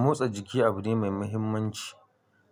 Motsa jiki abu ne mai muhimmanci